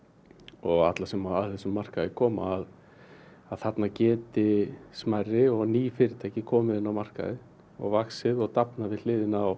og alla sem að þessum markaði koma að þarna geti stærri og ný fyrirtæki komið inn á markaði og vaxið og dafnað við hliðina á